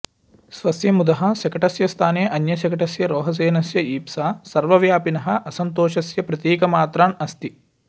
स्वस्य मुदः शकटस्य स्थाने अन्यशकटस्य रोहसेनस्य ईप्सा सर्वव्यापिनः असन्तोषस्य प्रतीकमात्रम् अस्ति